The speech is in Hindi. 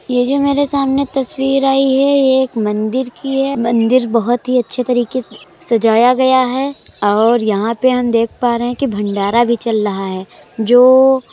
ये जो मेरे सामने तस्वीर आयी है ये एक मंदिर की है। मंदिर बोहोत ही अच्छे तरीके सजाया गया है और यहां पे हम देख पा रहे हैं कि भंडारा भी चल रहा है जो --